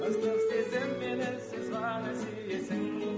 ыстық сезіммен үнсіз ғана сүйесің